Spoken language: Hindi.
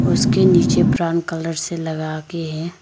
उसके नीचे ब्राउन कलर से लगाके है।